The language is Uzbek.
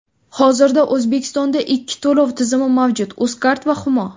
Hozirda O‘zbekistonda ikki to‘lov tizimi mavjud Uzcard va Humo.